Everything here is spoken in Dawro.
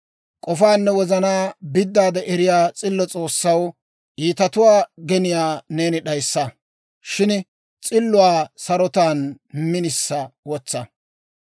K'ofaanne wozanaa biddaade eriyaa s'illo S'oossaw, iitatuwaa geniyaa neeni d'ayissa. Shin s'illuwaa sarotan minisa wotsa.